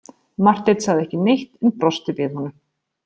Marteinn sagði ekki neitt en brosti við honum.